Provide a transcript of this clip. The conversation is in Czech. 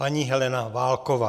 Paní Helena Válková.